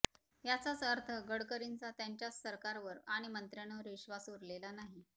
याचाच अर्थ गडकरींचा त्यांच्याच सरकारवर आणि मंत्र्यांवर विश्वास उरलेला नाही